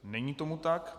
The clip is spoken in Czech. Není tomu tak.